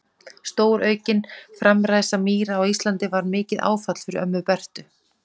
Stóraukin framræsla mýra á Íslandi var mikið áfall fyrir ömmu Bertu.